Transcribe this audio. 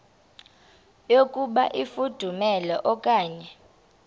yokuba ifudumele okanye